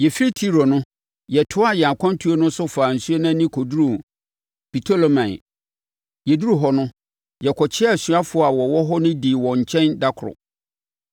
Yɛfiri Tiro no, yɛtoaa yɛn akwantuo no so faa nsuo ani kɔduruu Ptolemai. Yɛduruu hɔ no, yɛkɔkyeaa asuafoɔ a wɔwɔ hɔ no dii wɔn nkyɛn da koro.